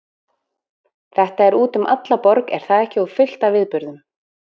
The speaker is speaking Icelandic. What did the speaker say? Þetta er út um alla borg er það ekki og fullt af viðburðum?